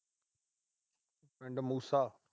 ਪਿੰਡ ਮੂਸਾ।